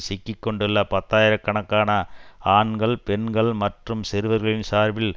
சிக்கி கொண்டுள்ள பத்தாயிர கணக்கான ஆண்கள் பெண்கள் மற்றும் சிறுவர்களின் சார்பில்